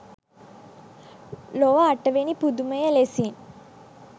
ලොව අටවැනි පුදුමය ලෙසින්